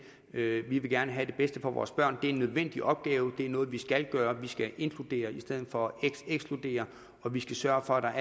vi vil gerne have det bedste for vores børn det er en nødvendig opgave det er noget vi skal gøre vi skal inkludere i stedet for at ekskludere og vi skal sørge for at der